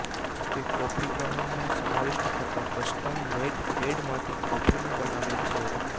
તે કોફી ગ્રાઉન્ડનો સમાવિષ્ટ થતા કસ્ટમ મેઇડ પેડમાથી કોફીનું બનાવે છે